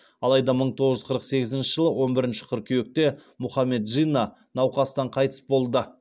алайда мың тоғыз жүз қырық сегізінші жылы он бірінші қыркүйекте мұхаммед джинна науқастан қайтыс болды